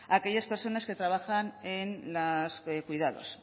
a aquellas personas que trabajan en los cuidados